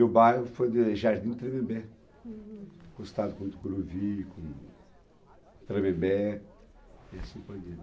E o bairro foi de Jardim Tremembe, hm, acostado com Tucuruvi, com Tremembe, e assim por diante.